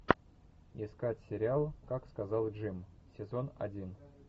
искать сериал как сказал джим сезон один